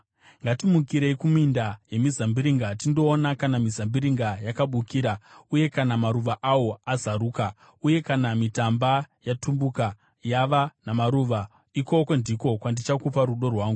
Ngatimukirei kuminda yemizambiringa tindoona kana mizambiringa yakabukira, uye kana maruva awo azaruka, uye kana mitamba yatumbuka yava namaruva, ikoko ndiko kwandichakupa rudo rwangu.